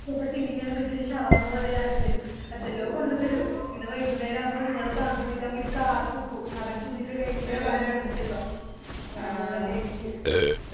ചെലപ്പോ filling എല്ലാം വെച്ചിറ്റ് shawarma പോലെല്ലാം ആക്കിത്തരും എന്തെല്ലോ കൊണ്ടത്തരും ഇങ്ങനെ വൈകുന്നേരവുമ്പോ നിങ്ങളെ ബാങ്ക് വിളിക്കാൻ വേണ്ടി കാത്ത്ക്കു അവര് തിന്നിറ്റ് കൈഞ്ഞിറ്റ് അല്ലെ ബാക്കി കോണ്ടത്തെരുവ നല്ല taste